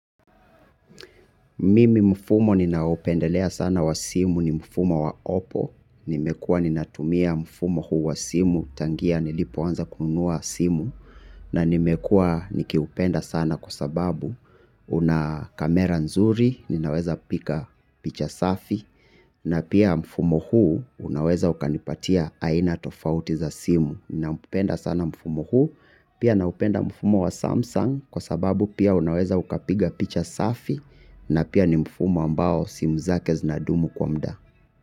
Mimi mfumo ninaopendelea sana wa simu ni mfumo wa Oppo. Nimekuwa ninatumia mfumo huu wa simu tangia nilipo anza kunua simu. Na nimekuwa nikiupenda sana kwa sababu una kamera nzuri, ninaweza piga picha safi. Na pia mfumo huu unaweza ukanipatia aina tofauti za simu. Ninaupenda sana mfumo huu, pia naupenda mfumo wa Samsung kwa sababu pia unaweza ukapiga picha safi. Na pia ni mfumo ambao simu zake zinadumu kwa mda.